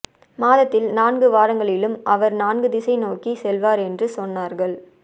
மாதத்தில் நான்கு வாரங்களிலும் அவர் நான்கு திசைகள் நோக்கிச் செல்வார் என்று சொன்னார்கள்